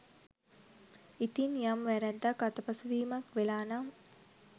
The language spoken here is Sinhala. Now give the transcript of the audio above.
ඉතින් යම් වැරැද්දක් අතපසුවීමක් වෙලා නම්